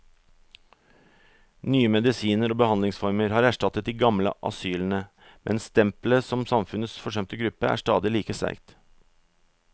Nye medisiner og behandlingsformer har erstattet de gamle asylene, men stempelet som samfunnets forsømte gruppe er stadig like sterkt.